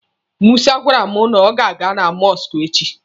Musa gwara m na ọ ga-aga na mọsụkụ echi.